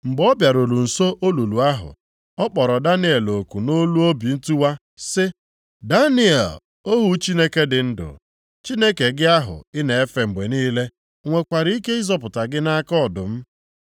Mgbe ọ bịaruru nso olulu ahụ, ọ kpọrọ Daniel oku nʼolu obi ntiwa sị, “Daniel, ohu Chineke dị ndụ, Chineke gị ahụ ị na-efe mgbe niile, o nwekwara ike ịzọpụta gị nʼaka ọdụm?”